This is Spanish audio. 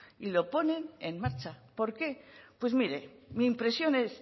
y lo ponen en marcha por qué pues mire mi impresión es